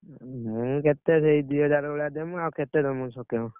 ମୁଁ କେତେ, ସେଇ ଦିହଜାର ଭଳିଆ ଦେମି ଆଉ କେତେ ଦେମି ସକ୍ଷମ।